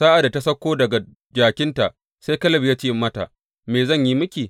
Sa’ad da ta sauko daga jakinta, sai Kaleb ya ce mata, Me zan yi miki?